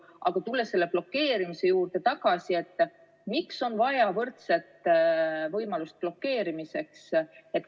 Aga tulles selle blokeerimise juurde tagasi, küsin: miks on vaja võrdset võimalust blokeerimiseks?